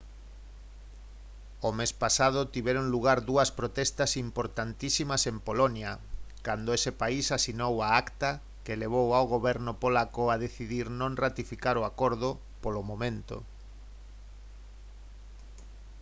o mes pasado tiveron lugar dúas protestas importantísimas en polonia cando ese país asinou a acta que levou ao goberno polaco a decidir non ratificar o acordo polo momento